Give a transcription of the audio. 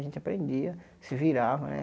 A gente aprendia, se virava, né?